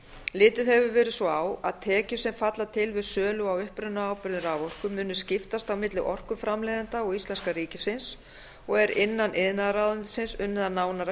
litið hefur verið svo á að tekjur sem falla til við sölu á upprunaábyrgðir raforku muni skiptast á milli orkuframleiðenda og íslenska ríkisins og er innan iðnaðarráðuneytisins unnið að nánara